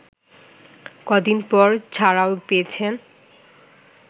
কদিন পর ছাড়াও পেয়েছেন